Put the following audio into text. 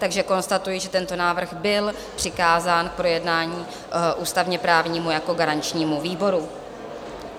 Takže konstatuji, že tento návrh byl přikázán k projednání ústavně-právnímu jako garančnímu výboru.